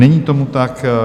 Není tomu tak.